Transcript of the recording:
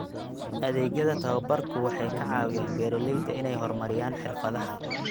Adeegyada tababarku waxay ka caawiyaan beeralayda inay horumariyaan xirfadaha.